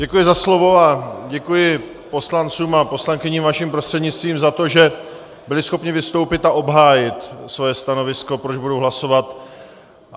Děkuji za slovo a děkuji poslancům a poslankyním, vaším prostřednictvím, za to, že byli schopni vystoupit a obhájit svoje stanovisko, proč budou hlasovat.